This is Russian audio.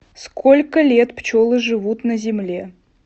сколько лет пчелы живут на земле